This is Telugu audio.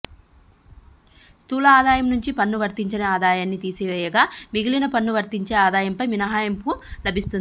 స్థూల ఆదాయం నుంచి పన్ను వర్తించని ఆదాయాన్ని తీసివేయగా మిగిలిన పన్ను వర్తించే ఆదాయంపై మినహాయింపు లభిస్తుంది